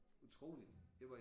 Utroligt det var i